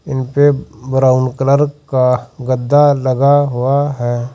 इनपे brown colour का गद्दा लगा हुआ है।